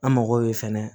An mago bɛ fɛnɛ